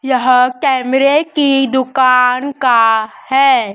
यह कैमरे की दुकान का है।